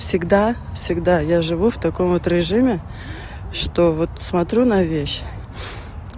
всегда всегда я живу в таком вот режиме что вот смотрю на вещь